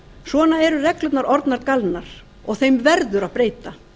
svona eru reglurnar orðnar galnar og þeim verður að breyta